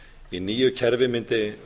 í nýju kerfi mundi